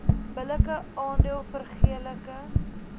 billike aandeel vergeleke